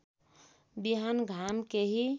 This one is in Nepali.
बिहान घाम केही